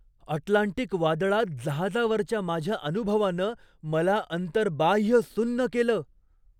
Atlantic वादळात जहाजावरच्या माझ्या अनुभवानं मला अंतर्बाह्य सुन्न केलं!